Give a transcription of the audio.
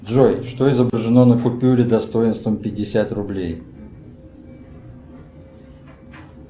джой что изображено на купюре достоинством пятьдесят рублей